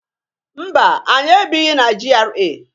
Mba! Anyị ebighi na GRA.